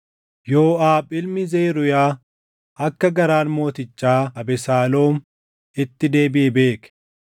Yooʼaab ilmi Zeruuyaa akka garaan mootichaa Abesaaloom itti deebiʼe beeke.